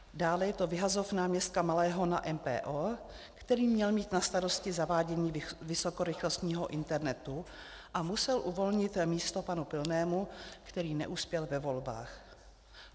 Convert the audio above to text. Dále je to vyhazov náměstka Malého na MPO, který měl mít na starosti zavádění vysokorychlostního internetu a musel uvolnit místo panu Pilnému, který neuspěl ve volbách.